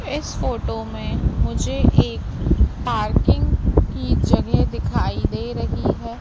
इस फोटो में मुझे एक पार्किंग की जगह दिखाई दे रही है।